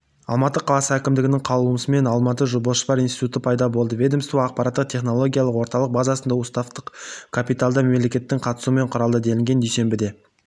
алматы қаласы әкімдігінің қаулысымен алматыбасжопар институты пайда болды ведомство ақпараттық технологиялық орталық базасында уставтық капиталда мемлекеттің қатысуымен құрылды делінген дүйсенбіде